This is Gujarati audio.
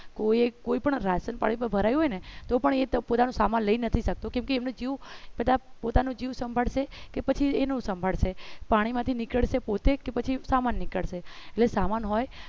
કોઈએ કોઈ પણ રાસન પાણી હોય ને તો પણ એ તો પોતાનો સામાન લઈ નથી શકતો કેમ કે બધા પોતાનો જીવ સંભાળશે કે પછી એનું સાંભળશે પાણીમાંથી નીકળશે પોતે કે પછી સામાન નીકળશે એટલે સામાન હોય